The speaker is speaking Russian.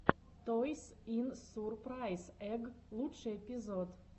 тойс ин сурпрайз эгг лучший эпизод